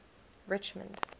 richmond